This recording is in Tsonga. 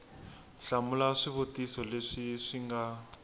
hlamula swivutiso leswi swi nga